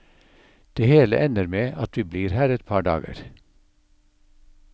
Det hele ender med at vi blir her et par dager.